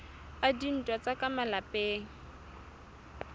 a dintwa tsa ka malapeng